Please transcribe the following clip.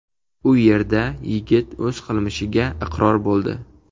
U yerda yigit o‘z qilmishiga iqror bo‘ldi.